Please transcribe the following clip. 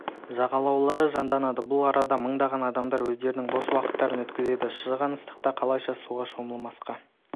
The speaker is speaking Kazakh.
жағалаулары жанданады бұл арада мыңдаған адамдар өздерінің бос уақыттарын өткізеді шыжыған ыстықта қалайша суға шомылмасқа